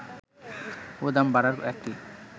ও দাম বাড়ার একটি